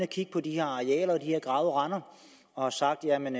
kigge på de her arealer og de her gravede render og har sagt at man